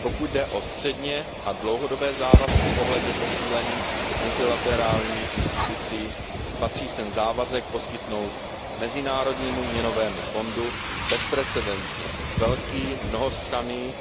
Pokud jde o střednědobé a dlouhodobé závazky ohledně posílení multilaterálních institucí, patří sem závazek poskytnout Mezinárodnímu měnovému fondu bezprecedentně velký, mnohostranný